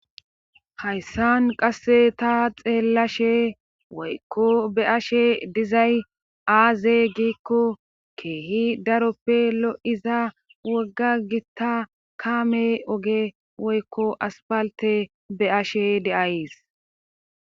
hayssan qasse ta xeellashshe woykko be'ashe dizay aaze giikko keehi daroppe lo'iza wogga gitta kaame oge woykko aspalte be'ashe de'as